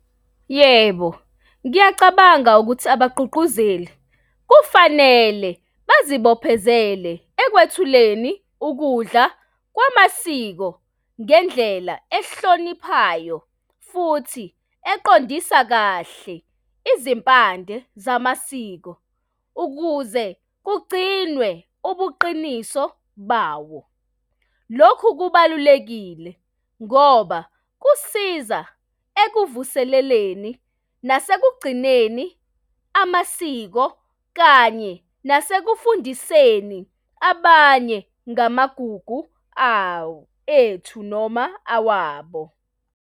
Yebo, ngiyacabanga ukuthi abagqugquzeli kufanele bazibophezelele ekwathuleni ukudla kwamasiko ngendlela ehloniphayo futhi eqondisa kahle izimpande zamasiko ukuze kugcinwe ubuqiniso bawo. Lokhu kubalulekile ngoba kusiza ekuvuseleleni nasekugcineni amasiko kanye nasekufundiseni abanye ngamagugu awo, ethu noma awabo.